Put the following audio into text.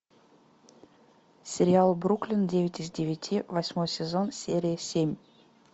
сериал бруклин девять из девяти восьмой сезон серия семь